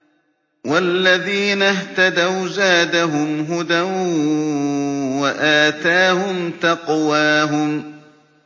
وَالَّذِينَ اهْتَدَوْا زَادَهُمْ هُدًى وَآتَاهُمْ تَقْوَاهُمْ